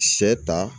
Sɛ ta